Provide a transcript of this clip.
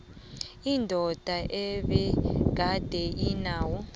indoda ebegade inawo